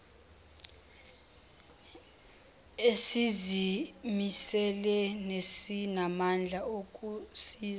esizimisele nesinamandla okusiza